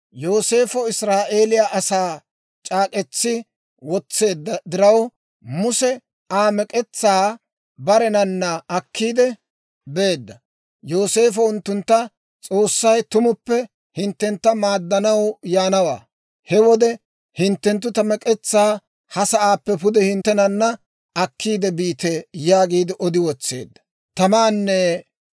Yooseefo Israa'eeliyaa asaa c'aak'k'etsi wotseedda diraw, Muse Aa mek'etsaa barenana akkiide beedda; Yooseefo unttuntta, «S'oossay tumuppe hinttentta maaddanaw yaanawaa; he wode hinttenttu ta mek'etsaa ha sa'aappe pude hinttenana akkiide biite» yaagiide odi wotseedda.